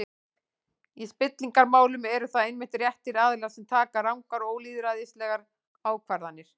Í spillingarmálum eru það einmitt réttir aðilar sem taka rangar og ólýðræðislegar ákvarðanir.